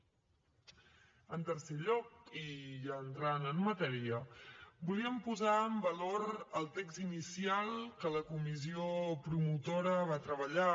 en tercer lloc i ja entrant en matèria volíem posar en valor el text inicial que la comissió promotora va treballar